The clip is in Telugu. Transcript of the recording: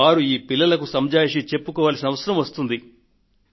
వారు ఈ పిల్లలకు సంజాయిషీ చెప్పుకోవాల్సిన అవసరం వస్తుంది